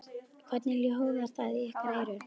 Hvernig hljóðar það í ykkar eyru?